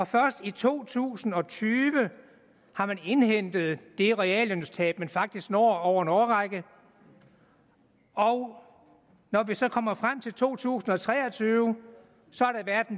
først i to tusind og tyve har man indhentet det reallønstab man faktisk når over en årrække og når vi så kommer frem til to tusind og tre og tyve